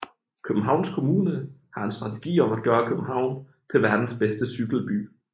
Københavns Kommune har en strategi om at gøre København til verdens bedste cykelby